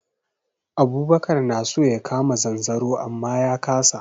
Abubakar na so ya kama zanzaro amma ya kasa.